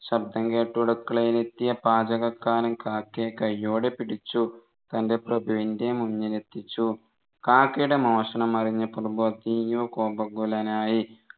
ശബ്ദം കേട്ട് അടുക്കളയിൽ എത്തിയ പാചകക്കാരൻ കാക്കയെ കൈയോടെ പിടിച്ചു തൻെറ പ്രഭുവിൻെറ മുന്നിലെത്തിച്ചു കാക്കയുടെ മോഷണം അറിഞ്ഞ പ്രഭു അതീവ കോപാകുലനായി